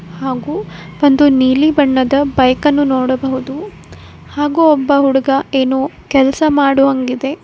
ಹಾಗೂ ಒಂದು ನೀಲಿ ಬಣ್ಣದ ಬೈಕ್ ಅನ್ನು ನೋಡಬಹುದು ಹಾಗೂ ಒಬ್ಬ ಹುಡುಗ ಏನೋ ಕೆಲಸ ಮಾಡುವಂಗಿದೆ.